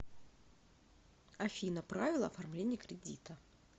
афина правила оформления кредита